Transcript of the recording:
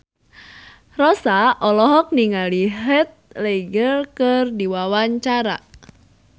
Rossa olohok ningali Heath Ledger keur diwawancara